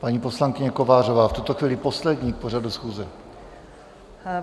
Paní poslankyně Kovářová, v tuto chvíli poslední k pořadu schůze.